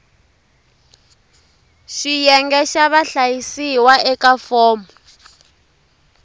xiyenge xa vahlayisiwa eka fomo